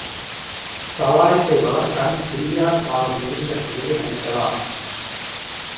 சவாரி செய்பவர் தன் சில்லியால் அவர் எறிந்த சில்லை அடிக்கலாம்